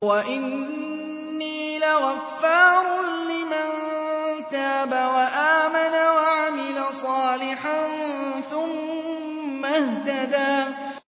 وَإِنِّي لَغَفَّارٌ لِّمَن تَابَ وَآمَنَ وَعَمِلَ صَالِحًا ثُمَّ اهْتَدَىٰ